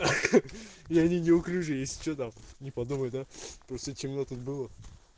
я не неуклюжий если чё там не подумай да просто темно тут было